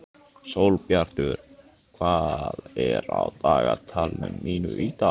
Sólbjartur, hvað er á dagatalinu mínu í dag?